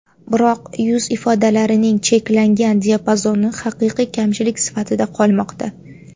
Biroq yuz ifodalarining cheklangan diapazoni haqiqiy kamchilik sifatida qolmoqda.